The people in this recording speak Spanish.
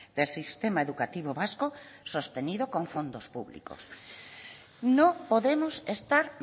del sistema educativo vasco sostenido con fondos públicos no podemos estar